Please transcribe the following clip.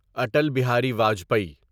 Atal Bihari Vajpayee